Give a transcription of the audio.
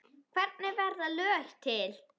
Hvernig verða lög til?